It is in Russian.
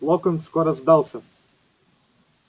локонс скоро сдался